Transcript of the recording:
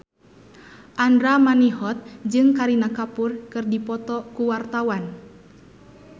Andra Manihot jeung Kareena Kapoor keur dipoto ku wartawan